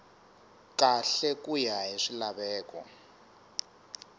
kahle ku ya hi swilaveko